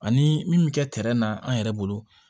Ani min bɛ kɛ na an yɛrɛ bolo